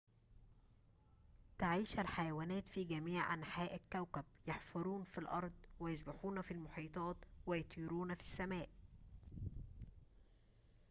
تعيش الحيوانات في جميع أنحاء الكوكب يحفرون في الأرض ويسبحون في المحيطات ويطيرون في السماء